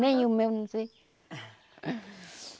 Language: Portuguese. Nem o meu, não sei.